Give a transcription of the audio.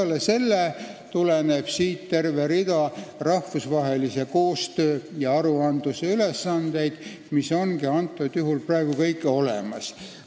Peale selle tuleneb siit terve rida rahvusvahelise koostöö ja aruandlusega seotud ülesandeid, mis on ka praegu kõik olemas.